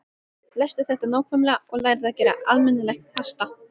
Lestu þetta nákvæmlega og lærðu að gera almennilegt pasta.